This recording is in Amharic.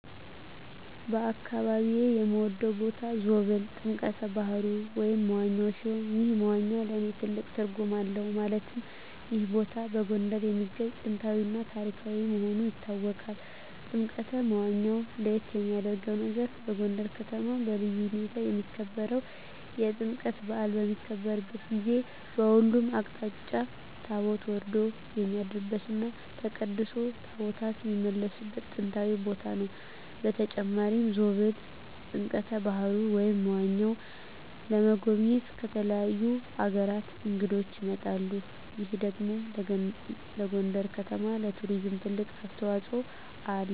በአካባቢየ የምወደው ቦታ ዞብል ጥምቀተ ባህሩ (መዋኛ) ሲሆን ይህ መዋኛ ለእኔ ትልቅ ትርጉም አለው ማለትም ይህ ቦታ በጎንደር የሚገኝ ጥንታዊ እና ታሪካዊ መሆኑ ይታወቃል። ጥምቀተ መዋኛው ለየት የሚያረገው ነገር በጎንደር ከተማ በልዩ ሁኔታ የሚከበረው የጥምቀት በአል በሚከበርበት ጊዜ በሁሉም አቅጣጫ ታቦት ወርዶ የሚያድርበት እና ተቀድሶ ታቦታት የሚመለስበት ጥንታዊ ቦታ ነው። በተጨማሪም ዞብል ጥምቀተ በሀሩ (መዋኛው) ለመጎብኘት ከተለያዩ አገራት እንግዶች ይመጣሉ ይህ ደግሞ ለጎንደር ከተማ ለቱሪዝም ትልቅ አስተዋጽኦ አለው።